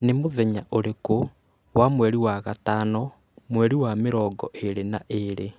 Nĩ mũthenya ũrĩkũ wa mweri wa gatano mweri wa mĩrongo ĩĩrĩ na ĩĩrĩ